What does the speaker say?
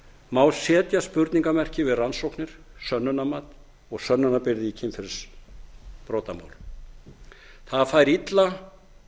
má setja spurningarmerki við rannsóknir sönnunarmat og sönnunarbyrði í kynferðisbrotamálum það fær illa